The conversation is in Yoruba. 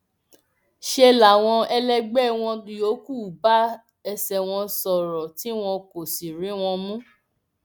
ṣe làwọn ẹlẹgbẹ wọn yòókù bá ẹsẹ wọn sọrọ tí wọn kò sì rí wọn mú